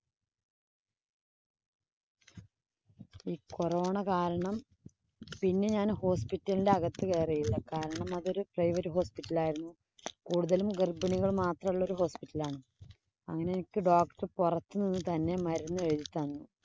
ഈ corona കാരണം പിന്നെ ഞാന്‍ hospital ന്‍റെ അകത്തു കയറിയില്ല. കാരണം അത് ഒരു private hospital ആയിരുന്നു. കൂടുതലും ഗര്‍ഭിണികള്‍ മാത്രമുള്ള hospital ആണ്. അങ്ങനെ എനിക്ക് doctor പൊറത്ത് നിന്ന് തന്നെ മരുന്ന് എഴുതി തന്നു.